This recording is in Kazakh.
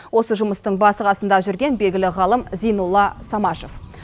осы жұмыстың басы қасында жүрген белгілі ғалым зейнолла самашев